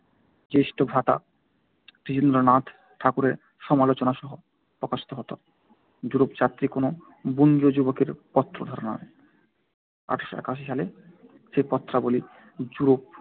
জ্যেষ্ঠভ্রাতা দ্বিজেন্দ্রনাথ ঠাকুরের সমালোচনাসহ প্রকাশিত হত য়ুরোপযাত্রী কোনো বঙ্গীয় যুবকের পত্রধারা নামে। আট শো একাশি একাশি সালে সেই পত্রাবলি য়ুরোপ